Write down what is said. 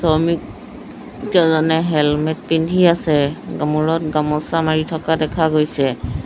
শমিক কেজনে হেলমেট পিন্ধি আছে মূৰত গামোচা মাৰি থকা দেখা গৈছে।